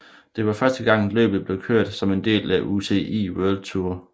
Det var første gang løbet blev kørt som en del af UCI World Tour